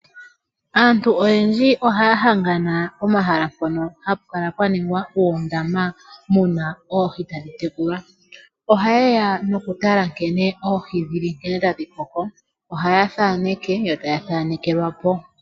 Aantu oyendji oha ya hangana pomahala mpono ha pu kala pwa ningwa oondama mu na oohi tadhi tekulwa. Ohaye ya nokutala oohi nkene dhi li tadhi koko. Ohaya thaneke yo ta ya thanekelwa po.